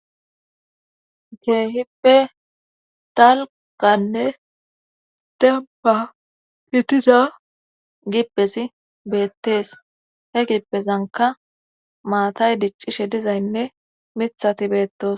Keehippe dalkanne debba kitiza gippesi beettees he gipezanka maatay diccishe dizaynne mithati beettos.